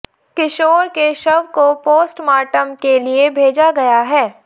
किशोर के शव को पोस्टमार्टम के लिए भेजा गया है